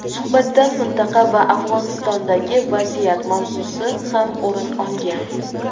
suhbatdan mintaqa va Afg‘onistondagi vaziyat mavzusi ham o‘rin olgan.